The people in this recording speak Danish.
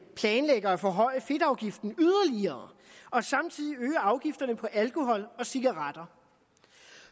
planlægger at forhøje fedtafgiften yderligere og samtidig øge afgifterne på alkohol og cigaretter